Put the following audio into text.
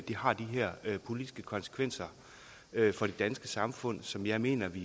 har de her politiske konsekvenser for det danske samfund som jeg mener vi